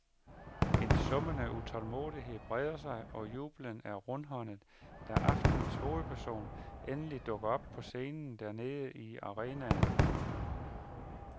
En summende utålmodighed breder sig, og jubelen er rundhåndet, da aftenens hovedperson endelig dukker op på scenen dernede i arenaen.